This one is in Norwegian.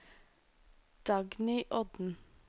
Dagny Odden